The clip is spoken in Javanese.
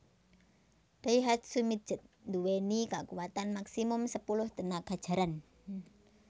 Daihatsu Midget nduweni kakuwatan maksimum sepuluh tenaga jaran